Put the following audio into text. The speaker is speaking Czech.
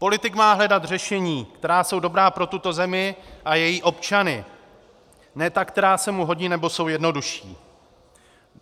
Politik má hledat řešení, která jsou dobrá pro tuto zemi a její občany, ne ta, která se mu hodí nebo jsou jednodušší.